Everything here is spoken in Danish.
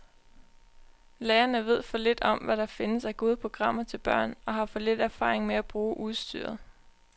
Lærerne ved for lidt om, hvad der findes af gode programmer til børn, og har for lidt erfaring med at bruge udstyret.